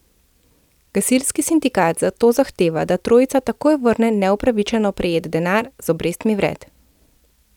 Gasilski sindikat zato zahteva, da trojica takoj vrne neupravičeno prejet denar z obrestmi vred.